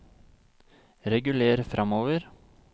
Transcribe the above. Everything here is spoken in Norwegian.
reguler framover